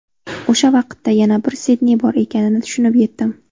O‘sha vaqtda yana bir Sidney bor ekanini tushunib yetdim.